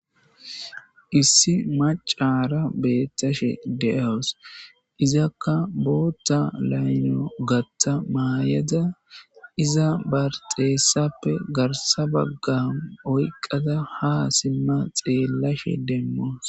issi macaya beettashe de7awus izakka bootta layno gatta maayada iza barxeessappe garsa baggan oyqada ha simma xeellashe demmoos